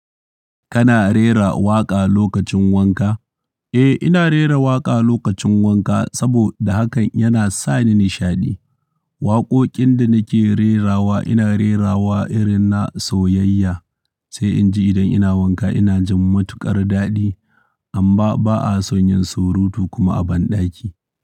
Kana rera waƙa lokacin wanka? Eh, ina rera waƙa lokacin wanka saboda hakan yana sa ni nishaɗi. Waƙoƙin da nake rerawa ina rerawa irin na soyayya, sai in ji idan ina wanka ina jin matuƙar daɗi. Amma ba a son yin surutu kuma a banɗaki.